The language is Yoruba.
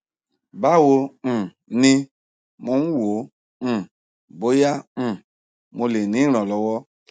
báwo um ni mò ń wò ó um bóyá um mo lè rí ìrànlọwọ